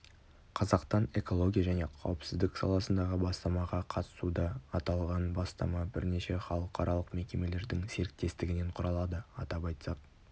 қазақтан экология және қауіпсіздік саласындағы бастамаға қатысуда аталған бастама бірнеше халықаралық мекемелердің серіктестігінен құралады атап айтсақ